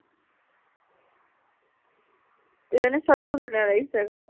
এইজনী ছোৱালীকো ধুনীয়া লাগিছে আকৌ।